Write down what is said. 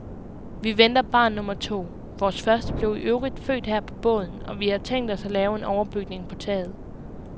Vi venter barn nummer to, vores første blev i øvrigt født her på båden, og vi har tænkt os at lave en overbygning på taget.